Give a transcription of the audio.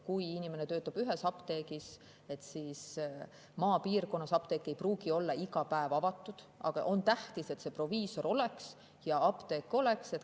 Kui inimene töötab ühes apteegis, siis maapiirkonnas ei pruugi apteek olla iga päev avatud, aga on tähtis, et seal proviisor oleks ja apteek oleks.